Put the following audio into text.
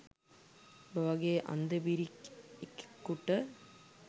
උබ වගේ අන්ද බිරි එකෙකුට